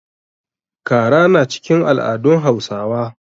Kara na cikin al'adun Hausawa.